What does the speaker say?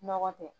Nɔgɔ tɛ